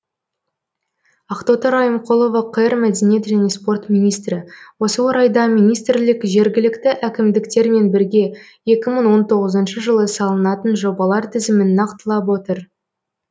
ақтоты райымқұлова қр мәдениет және спорт министрі осы орайда министрлік жергілікті әкімдіктермен бірге екі мың он тоғызыншы жылы салынатын жобалар тізімін нақтылап отыр